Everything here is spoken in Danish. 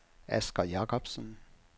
Asger Jacobsen